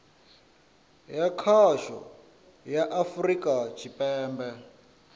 ya khasho ya afurika tshipembe